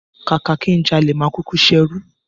Kàkà kí n jalè, máa kúkú ṣerú.